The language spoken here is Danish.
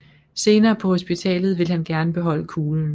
Senere på hospitalet ville han gerne beholde kuglen